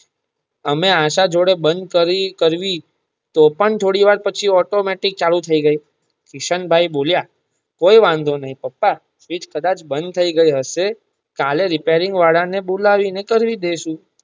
અમે આશા જોડે બંધ કરી તો પણ થોડી વાર પછી ઓટો મેટિક ચાલુ થઈ ગઈ કિશન ભાઈ બોલિયાં કઈ વાંધો નાઈ પાપા સ્વીટ્ચ કદાચ બંધ થઇ ગઈ હશે કાલે રીપેરીંગ વાળા ને બોલાવી ને કરી દઈશું.